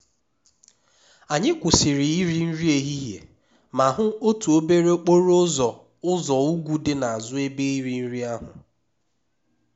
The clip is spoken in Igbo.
anyị kwụsịrị iri nri ehihie ma hụ otu obere okporo ụzọ ụzọ ugwu dị n'azụ ebe iri nri ahụ